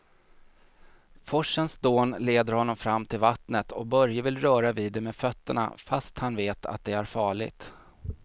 Forsens dån leder honom fram till vattnet och Börje vill röra vid det med fötterna, fast han vet att det är farligt.